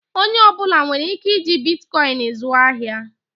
Onye ọ bụla nwere ike iji Bitikoin zụọ ahịa?